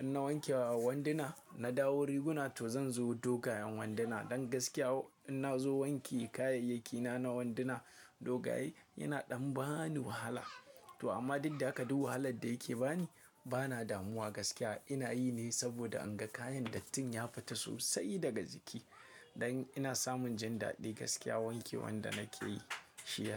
in na wanke wanduna, na dawo riguna to zan zo dogayen wanduna. Don gaskiya in nazo wanke kayayyaki na na wanduna dogaye yana ɗan ba ni wahala. To amma dik da haka duk wahalar da yake bani, bana damuwa gaskiya. Ina yi ne saboda in ga kayan dattin ya fita sosai daga jiki. Don ina samun jin daɗi gaskiya wanke wan da nake yi shi.